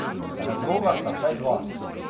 Razloga sta vsaj dva.